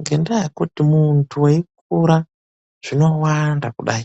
NGENDAA YEKUTI MUNHU EIKURA ZVINOWANDA KUDAI.